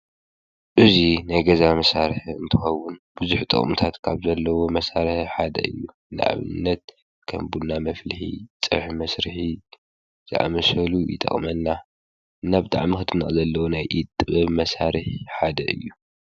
እዙይ ናይ ገዛ መሳርሕ እንተኮውን ብዙሕ ጥቕምታት ካብ ዘለዎ መሳርሒ ሓደ እዩ ንኣብነት ከም ቡና መፍልሒ ፀብሒ መስርሒ ዝኣመሰሉ ይጠቕመና ናብ ጠዕ ምኽድና ዘለዉ ናይ ኢደጥበብ መሳርሕ ሓደ እዩ።